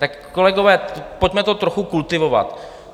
Tak kolegové, pojďme to trochu kultivovat.